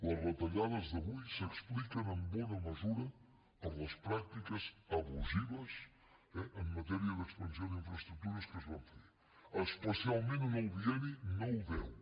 les retallades d’avui s’expliquen en bona mesura per les pràctiques abusives en matèria d’expansió d’infraestructures que es van fer especialment en el bienni nou deu